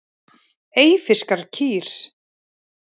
Eyfirskar kýr.